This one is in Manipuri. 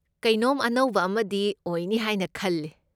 ꯀꯩꯅꯣꯝ ꯑꯅꯧꯕ ꯑꯃꯗꯤ ꯑꯣꯏꯅꯤ ꯍꯥꯏꯅ ꯈꯜꯂꯦ꯫